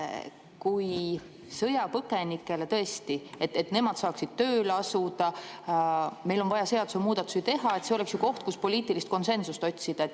Kui sõjapõgenikele, et nemad saaksid tööle asuda, on vaja seadusemuudatusi teha, siis see oleks ju koht, kus poliitilist konsensust otsida?